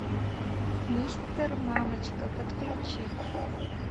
мистер мамочка подключи